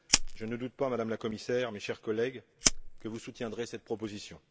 Je ne doute pas, Madame la Commissaire, chers collègues, que vous soutiendrez cette proposition.